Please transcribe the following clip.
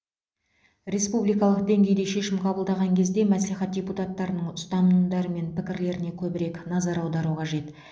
республикалық деңгейде шешім қабылдаған кезде мәслихат депутаттарының ұстанымдары мен пікірлеріне көбірек назар аудару қажет